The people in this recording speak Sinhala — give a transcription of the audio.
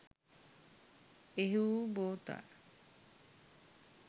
එහි වූ බෝතල්